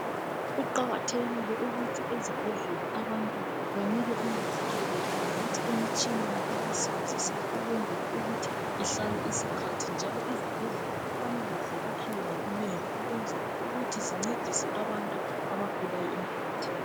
Kuqakathekile ukuthi ezibhedlela banike abantu unanzelelo futhi emitshineni abayisebenzisayo ukwenzela ukuthi ihlale isikhathi njalo izibhedlela kufanele ziyakhiwe ngobunengi ukwenzela ukuthi zincedise abantu abagulayo emphakathini.